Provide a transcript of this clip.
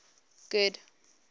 good